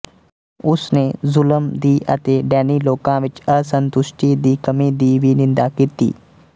ਉਸ ਨੇ ਜ਼ੁਲਮ ਦੀ ਅਤੇ ਡੈਨੀ ਲੋਕਾਂ ਵਿੱਚ ਅਸੰਤੁਸ਼ਟੀ ਦੀ ਕਮੀ ਦੀ ਵੀ ਨਿੰਦਾ ਕੀਤੀ